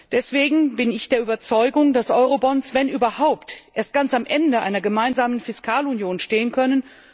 Deswegen bin ich der Überzeugung, dass Eurobonds wenn überhaupt erst ganz am Ende einer gemeinsamen Fiskalunion stehen können.